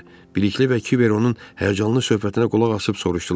Bilikli və Kiber onun həyəcanlı söhbətinə qulaq asıb soruşdular.